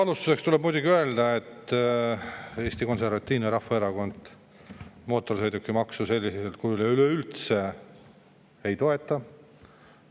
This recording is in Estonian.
Alustuseks tuleb muidugi öelda, et Eesti Konservatiivne Rahvaerakond mootorsõidukimaksu sellisel kujul ja ka üleüldse ei toeta.